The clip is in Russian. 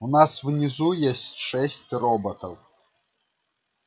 у нас внизу есть шесть роботов